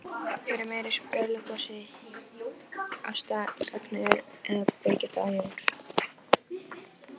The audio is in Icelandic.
Hver er meiri sprelligosi, Ásta Ragnheiður eða Birgitta Jóns?